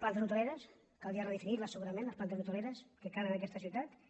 plantes hoteleres caldria redefinir les segurament les plantes hoteleres que calen en aquesta ciutat